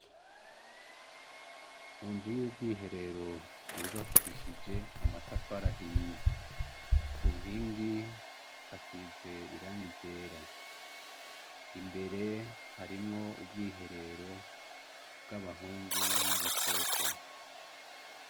Mu nzu y'ubwihero yubakishijwe amatafari ahiye. Ku nkingi hasize irangi ryera. Imbere harimwo ubwiherero bw'abahungu n'abakobwa.